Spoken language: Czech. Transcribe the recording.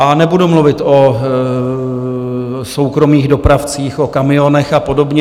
A nebudu mluvit o soukromých dopravcích, o kamionech a podobně.